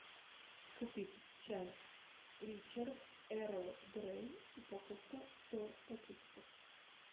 купить чай ричард эрл грей упаковка сто пакетиков